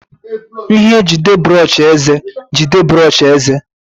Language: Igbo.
Ihe njide brọsh eze jide brọsh eze.